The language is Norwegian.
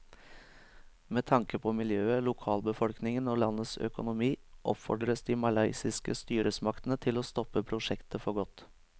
Med tanke på miljøet, lokalbefolkningen og landets økonomi oppfordres de malaysiske styresmaktene til å stoppe prosjektet for godt.